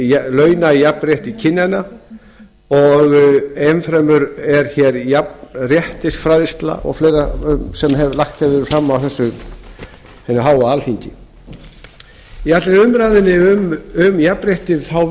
launajafnrétti kynjanna og enn fremur er hér jafnréttisfræðsla og fleira sem lagt hefur verið fram á þessu hinu háa alþingi í allan umræðunni um jafnrétti